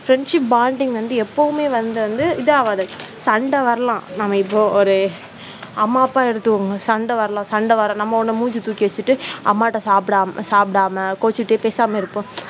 friendship bonding வந்து எப்பவுமே வந்து வந்து இது ஆவாது சண்டை வரலாம். நம்ம இப்போ ஒரு அம்மா அப்பா எடுத்துக்கோங்க சண்டை வரலாம், சண்ட வரும் நம்ம மூஞ்சி தூக்கி வச்சிட்டு அம்மா கிட்ட சாப்பிடாம கோச்சுட்டு பேசாம இருக்கும்.